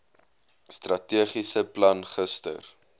strategiese plan gister